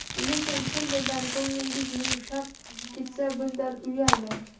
Lekin chin dildan ko‘nglingiz yumshab ketsa, bundan uyalmang.